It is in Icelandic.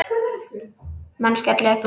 Menn skella uppúr.